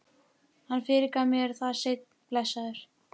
Hann fyrirgaf mér það seinna, blessaður.